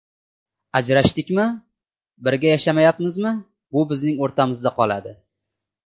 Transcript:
Ajrashdikmi, birga yashayapmizmi bu bizning o‘rtamizda qoladi.